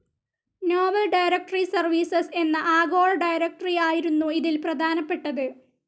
Novel directory services എന്ന ആഗോള directory ആയിരുന്നു ഇതിൽ പ്രധാനപ്പെട്ടത്.